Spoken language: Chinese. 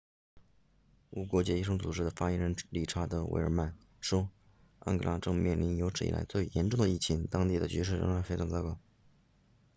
无国界医生组织的发言人理查德维尔曼 richard veerman 说安哥拉正面临有史以来最严重的疫情当地的局势仍然非常糟糕